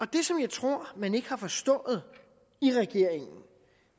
det som jeg tror man ikke har forstået i regeringen